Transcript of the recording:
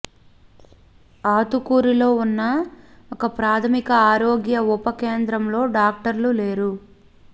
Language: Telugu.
ఆతుకూరులో ఉన్న ఒక ప్రాథమిక ఆరోగ్య ఉప కేంద్రంలో డాక్టర్లు లేరు